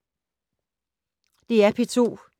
DR P2